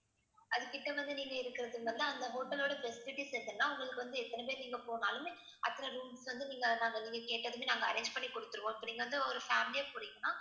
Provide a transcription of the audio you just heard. அது கிட்ட வந்து நீங்க இருக்கிறது வந்து அந்த hotel ஓட facilities என்னன்னா உங்களுக்கு வந்து எத்தனை பேர் நீங்க போனாலுமே அத்தனை rooms வந்து நீங்க நாங்க நீங்க கேட்டதுமே நாங்க arrange பண்ணி கொடுத்திடுவோம். இப்ப நீங்க வந்து ஒரு family ஆ போறீங்கன்னா